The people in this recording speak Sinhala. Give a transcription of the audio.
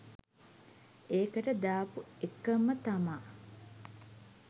ඒකට දාපු එකම තමා